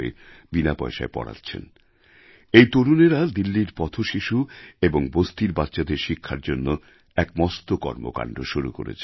বিনা পয়সায় পড়াচ্ছেন এই তরুণেরা দিল্লির পথশিশু এবং বস্তির বাচ্চাদের শিক্ষার জন্য এক মস্ত কর্মকাণ্ড শুরু করেছেন